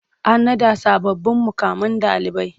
An naɗa sababbin muƙaman ɗalibai.